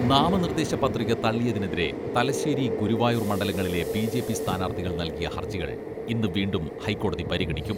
നാമനിർദ്ദേശ പ്രതിക തള്ളിയതിനെതിരെ തലശ്ശേരി, ഗുരുവായൂർ മണ്ഡലങ്ങളിലെ ബിജെപി സ്ഥാനാർത്ഥികൾ നൽകിയ ഹർജികൾ ഇന്ന് വീണ്ടും ഹൈക്കോടതി പരിഗണിക്കും.